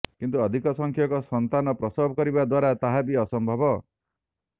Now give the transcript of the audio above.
କିନ୍ତୁ ଅଧିକ ସଂଖ୍ୟକ ସନ୍ତାନ ପ୍ରସବ କରିବା ଦ୍ୱାରା ତାହା ବି ଅସମ୍ଭବ